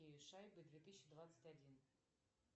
шайбы две тысячи двадцать один